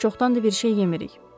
Biz çoxdan da bir şey yemirik.